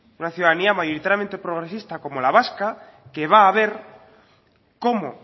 una ciudadanía mayoritariamente progresista como la vasca que va a ver cómo